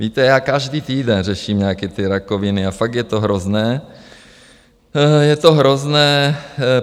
Víte, já každý týden řeším nějaké ty rakoviny a fakt je to hrozné, je to hrozné.